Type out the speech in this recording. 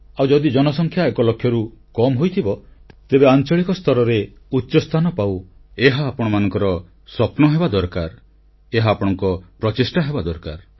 ଆଉ ଯଦି ଜନସଂଖ୍ୟା ଏକଲକ୍ଷରୁ କମ୍ ହୋଇଥିବ ତେବେ ଆଂଚଳିକ ସ୍ତରରେ ଉଚ୍ଚସ୍ଥାନ ପାଉ ଏହା ଆପଣମାନଙ୍କର ସ୍ୱପ୍ନ ହେବା ଦରକାର ଏହା ଆପଣଙ୍କ ପ୍ରଚେଷ୍ଟା ହେବା ଦରକାର